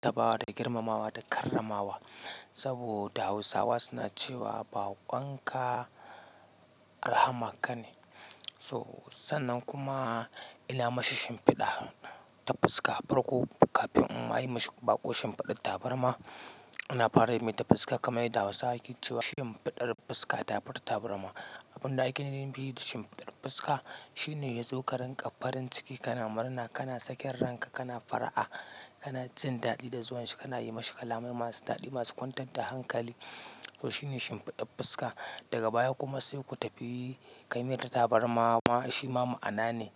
Taba wa da girmamawa da karramawa. Saboda Hausawa suna cewa bakon ka rahamar ka ne. So, sannan kuma ina mashi shin fiɗa ta fuska a farko kafin in ma yi mashi baƙo shin fiɗar tabarma. Ina fara mai ta fuska kamar yadda Hausawa ke cewa shin fiɗar fuska ta fi ta tabarma. Abun da ake nufi da shi fiɗar fuska shine ya zo ka rinƙa farin ciki kana murna, kana sakin ranka, kana fara'a, kana jin daɗi da zuwan shi, kana yi mashi kalamai masu daɗi masu kwantar da hankali. To shine shin fiɗar fuska. Daga baya kuma sai ku tafi ka yi mai ta tabarma shima ma'ana ne.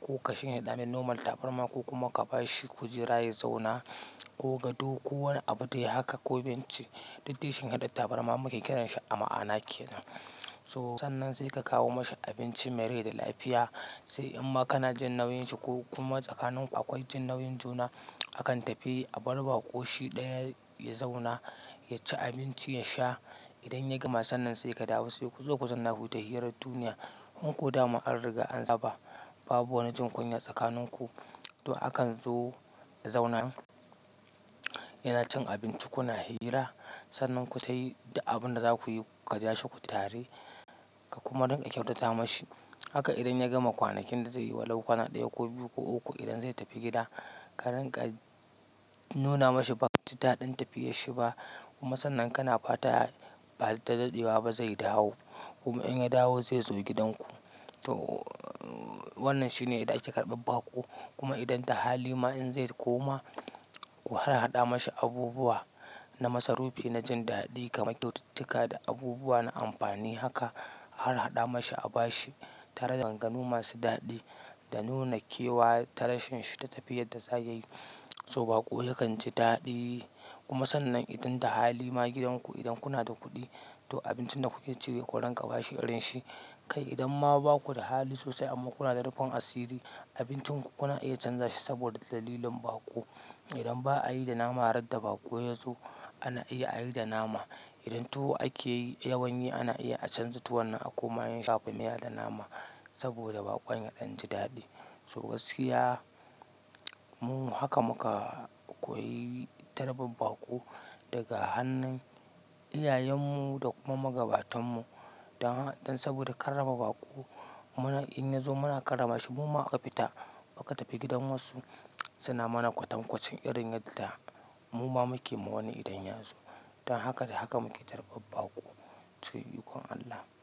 Ko ka shin fida mai noman tabarma ko kuma ka ba shi kujera ya zauna ko gado ko wani abu dai haka ko benci. Duk dai shin hidar tabarma muke kiran shi a ma'ana ke nan. So sannan sai ka kawo mashi abinci mai rai da lafiya. Sai in ma kana jin nauyin shi ko kuma tsakanin akwai jin nauyin juna, akan tafi a barbaƙo shi ɗaya ya zauna, ya ci abinci, ya sha. Idan ya gama, sannan sai ka dawo sai ku zo ku zanna ku tafi hirar duniya. In ƙoda ma an riga an saba, babu wani jin kunya tsakanin ku. To akan zo ya zauna, yana cin abinci kuna hira. Sannan ku tayi abin da za ku yi, ku ja shuku tare ka kuma rinƙa kyautata mashi. Haka idan ya gama kwanakin da zai yi walau kwana ɗaya ko biyu ko uku idan zai tafi gida, ka rinƙa nuna mashi bakaji daɗin tafiyar shi ba. Kuma sannan kana fata ba daɗewa ba zai dawo. Kuma in ya dawo zai zo gidanku. To wannan shine yanda ake karban baƙo. Kuma idan da hali ma in zai koma, ku har haɗa mashi abubuwa na masarufi, na jin daɗi kamar tututuka da abubuwa na amfani. Haka har haɗa mashi a ba shi tare da maganganu masu daɗi da nuna kewa ta rashin shi ta tafiyar da za ya yi. To baƙo yakan ji daɗi. Kuma sannan idan da hali ma gidanku idan kuna da kuɗi, to abincin da kuke ci sai ku rinƙa ba shi irin shi. Kai idan ma baku da hali sosai amma kuna da rufin asiri, abincin ku kuna iya canza shi saboda dalilin baƙo. Idan ba a yi da nama ran da baƙo ya zo ana iya a yi da nama. Idan tuwo ake yi yawanye, ana iya a canza tuwon nan a koma yin shakumiya da nama saboda baƙon ya ɗan ji daɗi. To gaskiya mu haka muka koyi tarban baƙo daga hannun iyayen mu da kuma magabatan mu. Dan saboda karrama baƙo, muna in ya zo muna karrama shi. Muma aka fita muka tafi gidan wasu, suna mana kwatankwacin irin yadda muma muke ma wani idan ya zo. Dan haka da haka muke tarban baƙo. Cikin ikon Allah.